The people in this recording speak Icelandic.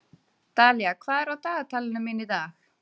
Dalía, hvað er á dagatalinu mínu í dag?